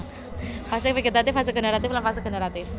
Fase vegetatif fase generatif lan fase generatif